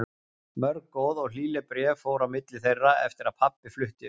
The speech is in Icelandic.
Mörg góð og hlýleg bréf fóru á milli þeirra eftir að pabbi fluttist austur.